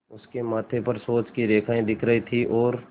उसके माथे पर सोच की रेखाएँ दिख रही थीं और